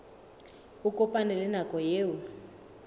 a kopane le nako eo